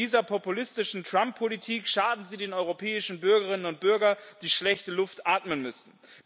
Mit dieser populistischen Trump Politik schaden Sie den europäischen Bürgerinnen und Bürgern, die schlechte Luft atmen müssen.